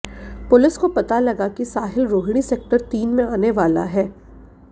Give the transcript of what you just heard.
police को पता लगा कि साहिल रोहिणी सेक्टर तीन में आने वाला है